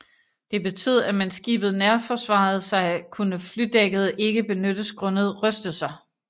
Det betød at mens skibet nærforsvarede sig kunne flydækket ikke benyttes grundet rystelser